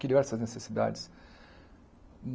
Criou essas necessidades.